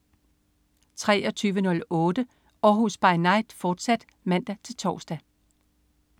23.08 Århus By Night, fortsat (man-tors)